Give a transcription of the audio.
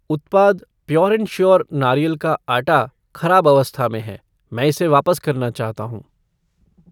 उत्पाद pure and sure नारियल का आटा खराब अवस्था में है, मैं इसे वापस करना चाहता हूँ।